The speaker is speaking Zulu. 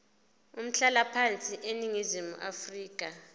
umhlalaphansi eningizimu afrika